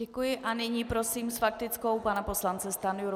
Děkuji a nyní prosím s faktickou pana poslance Stanjuru.